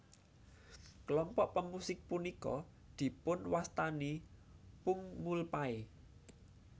Kelompok pemusik punika dipunwastani pungmulpae